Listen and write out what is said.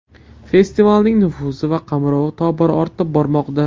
Festivalning nufuzi va qamrovi tobora ortib bormoqda.